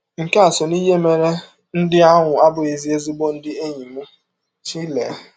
Nke a sọ n’ihe mere ndị ahụ abụghịzi ezịgbọ ndị enyi m, Shirley.